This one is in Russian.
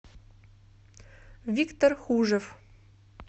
виктор хужев